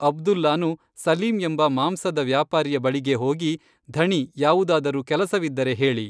ಅಬ್ದುಲ್ಲಾನು ಸಲೀಂ ಎಂಬ ಮಾಂಸದ ವ್ಯಾಪಾರಿಯ ಬಳಿಗೇ ಹೋಗಿ, ಧಣೀ ಯಾವುದಾದರೂ ಕೆಲಸವಿದ್ದರೆ ಹೇಳಿ